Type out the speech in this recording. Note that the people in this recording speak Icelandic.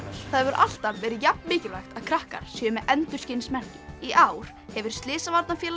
það hefur alltaf verið jafn mikilvægt að krakkar séu með endurskinsmerki í ár hefur Slysavarnafélagið